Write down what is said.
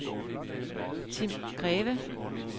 Tim Greve